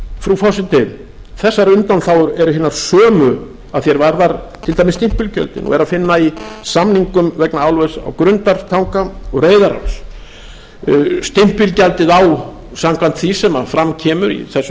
frú forseti þessar undanþágur eru hinar sömu og að því er varðar til dæmis stimpilgjöldin og er að finna í samningum vegna álvers í grundartanga og reyðaráls stimpilgjaldið samkvæmt því sem fram kemur í þessu frumvarpi að